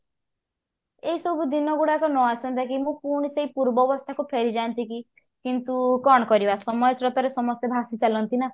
ଏଇ ସବୁ ଦିନ ଗୁଡାକ ନଆସନ୍ତା କି ମୁଁ ପୁଣି ସେଇ ପୂର୍ବ ଅବସ୍ଥା କୁ ଫେରିଯାଆନ୍ତି କି କିନ୍ତୁ କଣ କରିବା ସମାଜର ତର ରେ ସମସ୍ତେ ଭାସିଚାଲନ୍ତି ନା